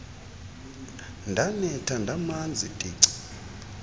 ndanetha ndamanzi tici